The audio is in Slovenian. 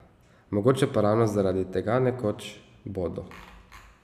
Mogoče pa ravno zaradi tega nekoč bodo.